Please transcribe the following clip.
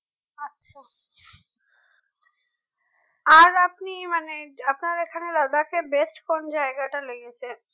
আর আপনি মানে আপনার এখানে Ladakh এ best কোন জায়গাটা লেগেছে